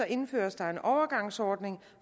indføres der en overgangsordning